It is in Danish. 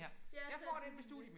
Ja tag den næste